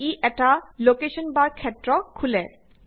ই এটা লকেশ্বন বাৰ ক্ষেত্ৰ খোলে